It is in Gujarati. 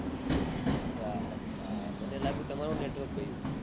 આછા આછા મને લાગ્યું તમારું network ગયું